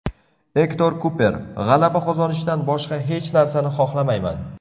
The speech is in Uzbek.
Ektor Kuper: G‘alaba qozonishdan boshqa hech narsani xohlamayman.